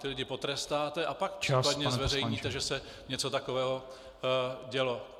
Ty lidi potrestáte a pak případně zveřejníte, že se něco takového dělo.